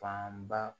Fanba